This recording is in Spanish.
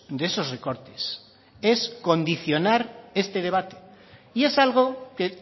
de esos recortes es condicionar este debate y es algo que